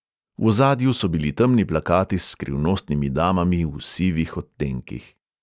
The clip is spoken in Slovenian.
V ozadju so bili temni plakati s skrivnostnimi damami v sivih odtenkih.